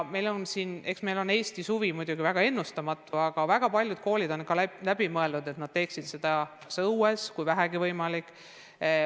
Eks Eesti suvi on muidugi väga ennustamatu, aga väga paljud koolid on ka mõelnud, et nad teeksid aktuse õues, kui vähegi võimalik.